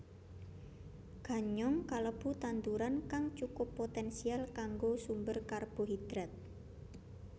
Ganyong kalebu tanduran kang cukup poténsial kanggo sumber karbohidrat